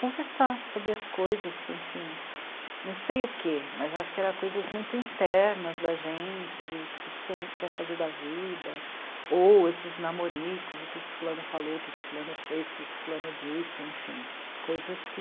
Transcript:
conversar sobre as coisas, enfim, não sei o que, mas acho que eram coisas muito internas da gente, do que a gente quer fazer da vida, ou esses namoricos, o que fulano falou, o que fulano fez, o que fulano disse, enfim, coisas que...